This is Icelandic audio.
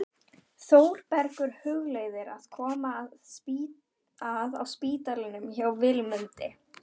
Þórbergur hugleiðir að koma að á spítalanum hjá Vilmundi.